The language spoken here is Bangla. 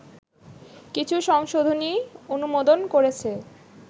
কিছু সংশোধনী অনুমোদন করেছে